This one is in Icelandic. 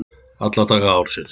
Alla daga ársins!